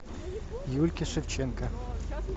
юльки шевченко